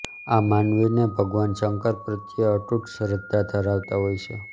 આ માનવી ને ભગવાન શંકર પ્રત્યે અતુટ શ્રધ્ધા ધરાવતા હોય છે